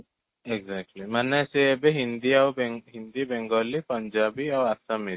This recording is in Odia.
exactly ମାନେ ସେ ଏବେ ହିନ୍ଦୀ ଆଉ ହିନ୍ଦୀ ବେଙ୍ଗଲୀ ପୁଞ୍ଜାବୀ ଆଉ ଆସମୀଜ, ଏଇ ଚାରିଟା ଏବେ ନେଉଛନ୍ତି